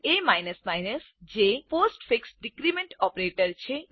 એ જે postfix decrement operator છે